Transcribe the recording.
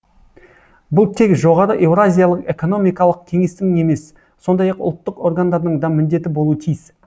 бұл тек жоғары еуразиялық экономикалық кеңестің емес сондай ақ ұлттық органдардың да міндеті болуы тиіс